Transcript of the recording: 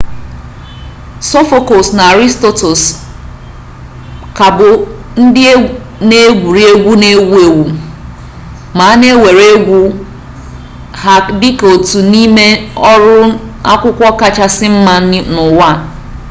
sophocles na aristophanes ka bụ ndị na-egwuri egwu na-ewu ewu ma a na-ewere egwuru egwu ha dị ka otu n'ime ọrụ akwụkwọ kachasị mma n'ụwa